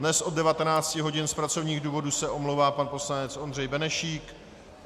Dnes od 19 hodin z pracovních důvodů se omlouvá pan poslanec Ondřej Benešík.